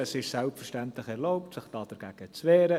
Es ist selbstverständlich erlaubt, sich dagegen zu wehren.